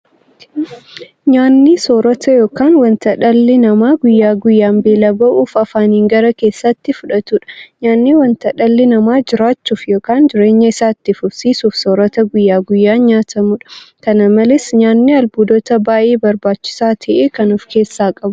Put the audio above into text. Nyaanni soorata yookiin wanta dhalli namaa guyyaa guyyaan beela ba'uuf afaaniin gara keessaatti fudhatudha. Nyaanni wanta dhalli namaa jiraachuuf yookiin jireenya isaa itti fufsiisuuf soorata guyyaa guyyaan nyaatamudha. Kana malees nyaanni albuuda baay'ee barbaachisaa ta'e kan ofkeessaa qabudha.